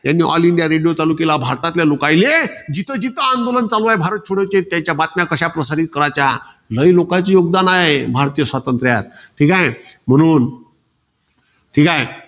त्यांनी all india radio चालू केला, भारतातले लोकाईले. जिथेजिथे आंदोलन चालूये भारत छोडोचे. त्याच्या बातम्या कशा प्रसारित कारच्या. नवीन लोकांचे योगदान हाये, भारतीय स्वातंत्र्यात. ठीकाये. म्हणून ठीकाय?